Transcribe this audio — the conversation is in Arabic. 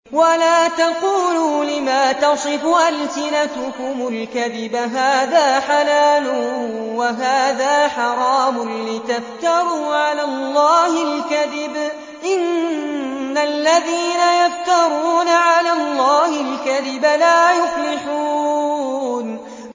وَلَا تَقُولُوا لِمَا تَصِفُ أَلْسِنَتُكُمُ الْكَذِبَ هَٰذَا حَلَالٌ وَهَٰذَا حَرَامٌ لِّتَفْتَرُوا عَلَى اللَّهِ الْكَذِبَ ۚ إِنَّ الَّذِينَ يَفْتَرُونَ عَلَى اللَّهِ الْكَذِبَ لَا يُفْلِحُونَ